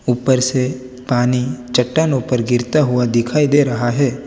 ऊपर से पानी चट्टानों पर गिरता हुआ दिखाई दे रहा है।